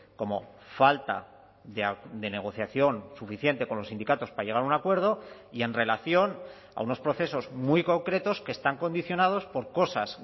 como falta de negociación suficiente con los sindicatos para llegar a un acuerdo y en relación a unos procesos muy concretos que están condicionados por cosas